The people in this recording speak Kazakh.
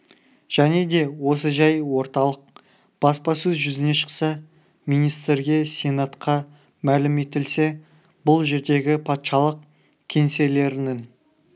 және де осы жай орталық баспасөз жүзіне шықса министрге сенатқа мәлім етілсе бұл жердегі патшалық кеңселерінің